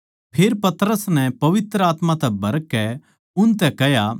फेर पतरस नै पवित्र आत्मा तै भरकै उनतै कह्या